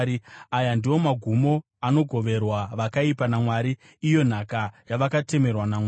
Aya ndiwo magumo anogoverwa vakaipa naMwari, iyo nhaka yavakatemerwa naMwari.”